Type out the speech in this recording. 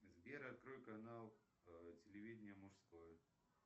сбер открой канал телевидения мужской